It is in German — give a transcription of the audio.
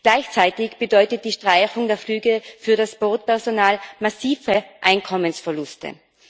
Gleichzeitig bedeutet die Streichung der Flüge für das Bordpersonal massive Einkommensverluste.